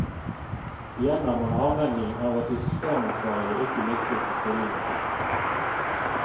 Igjen er man avhengig av at de systemansvarlige ikke misbruker stillingen sin.